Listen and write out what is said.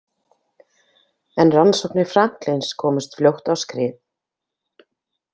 En rannsóknir Franklins komust fljótt á skrið.